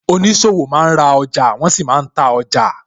Oníṣòwò máa ń ra ọjà, wọn sì máa ń ta ọjà